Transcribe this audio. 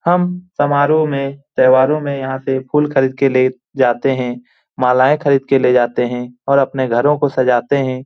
हम समारोह में त्यौहारों में यहाँ से फुल खरीद के ले जाते हैं मालाएँ खरीद के ले जाते हैं और अपने घरों को सजाते हैं।